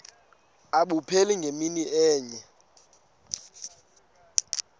abupheli ngemini enye